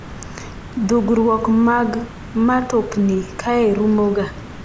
dhugruok mag matokni kae rumoga